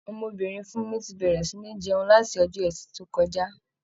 Ọmọbìnrin Fúnmi ti bẹ̀rẹ̀ sì ní jẹun, láti Ọjọ́ẹtì tó kọjá.